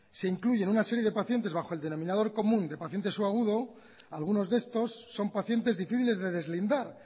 se incluyen una serie de paciente bajo el denominador común de paciente subagudo algunos de estos son pacientes difíciles de deslindar